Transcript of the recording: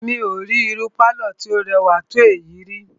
Mí ò rí irú pálọ̀ tí o rẹwà tó èyí ríi.